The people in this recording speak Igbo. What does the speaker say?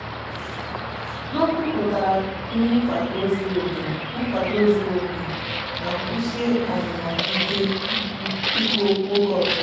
ha kwupụtara nkwado zuru oke nkwado zuru oke ma kwụsie ọnụnọ ha ike ikwu okwu oge ọbụla.